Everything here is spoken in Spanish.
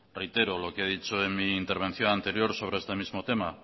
reitero lo que he dicho en mi intervención anterior sobre este mismo tema